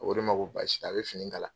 A ko ne ma ko baasi tɛ a bɛ fini kala.